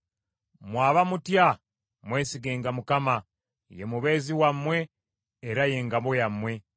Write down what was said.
Mmwe abamutya, mwesigenga Mukama , ye mubeezi wammwe, era ye ngabo yammwe.